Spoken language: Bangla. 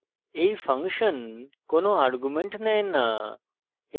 এই ফাংশন কোনো arguments নেয় না